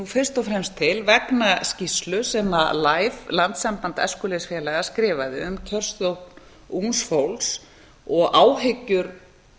fyrst og fremst til vegna skýrslu sem landssamband æskulýðsfélaga skrifaði um kjörsókn ungs fólks og áhyggjur